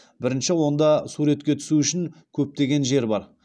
бірінші онда суретке түсу үшін көптеген жер бар